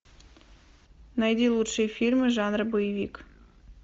найди лучшие фильмы жанра боевик